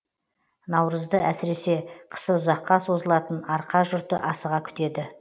наурызды әсіресе қысы ұзаққа созылатын арқа жұрты асыға күтеді